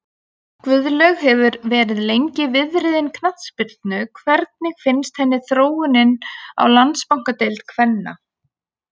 Guðlaug hefur verið lengi viðriðin knattspyrnu hvernig finnst henni þróunin á Landsbankadeild kvenna?